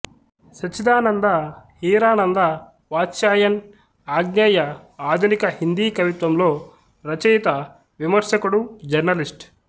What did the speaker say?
సచ్చిదానంద హీరానంద వాత్స్యాయన్ అజ్ఞేయ ఆధునిక హిందీ కవిత్వంలో రచయిత విమర్శకుడు జర్నలిస్టు